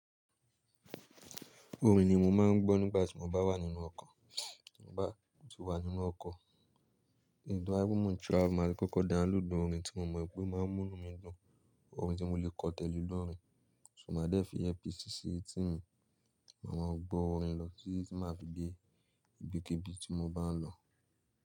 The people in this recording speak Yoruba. Orin ni mo máa ń gbọ́ nígbà tí mo bá wà nínú ọkọ̀, tí mo bá ti wà nínú ọkọ̀. To baye pe mo n travel maa lo kókó download orin tí mo mọ̀ i pé o máa ń mú ínu mi dùn, orin tí mo lè kọ tẹ́lẹ̀ lóore, so máa dé fi earpiece si etí mi, máa maa gbọ́ orin lọ títi máa fi dé ibikíbi tí mo bá ń lọ.